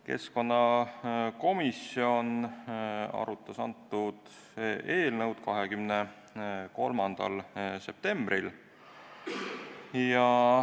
Keskkonnakomisjon arutas antud eelnõu 23. septembril.